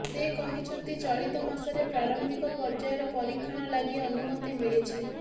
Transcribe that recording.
ସେ କହିଛନ୍ତି ଚଳିତ ମାସରେ ପ୍ରାରମ୍ଭିକ ପର୍ଯ୍ୟାୟର ପରୀକ୍ଷଣ ଲାଗି ଅନୁମତି ମିଳିଛି